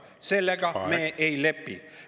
Sellega me ei lepi!